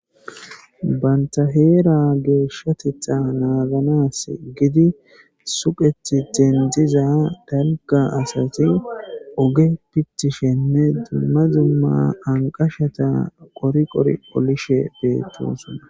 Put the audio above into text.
Banta heera geeshshatetha naaganas gidi suqethi dendziza dalga asati oge pitishenne dumma zumma anqashata qoriqor olishe beettosonna